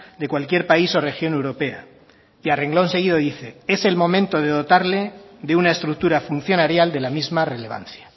de cualquier país o región europea y a renglón seguido dice es el momento de dotarle de una estructura funcionarial de la misma relevancia